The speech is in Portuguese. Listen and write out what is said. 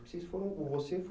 Você